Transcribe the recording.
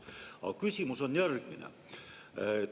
Aga küsimus on järgmine.